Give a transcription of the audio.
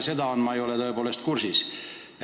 Kuidas on olnud pärast seda, ma tõepoolest ei ole kursis.